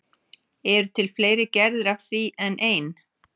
Eru til fleiri gerðir af því en ein?